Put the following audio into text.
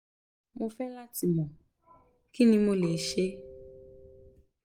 mo fẹ lati mọ kini mo le ṣe